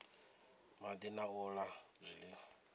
madi na u la zwiliwa